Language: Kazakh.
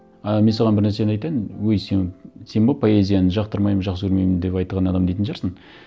ы мен саған бір нәрсені айтайын өй сен сен бе поэзияны жақтырмаймын жақсы көрмеймін деп айтқан адам дейтін шығарсың